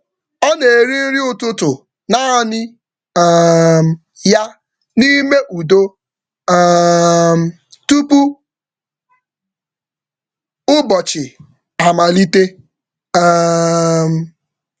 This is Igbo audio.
Ọ na-eri nri nri ụtụtụ naanị ya n’ime udo tupu ụbọchị amalite.